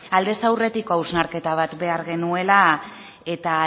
aldez aurretik hausnarketa bat behar genuela eta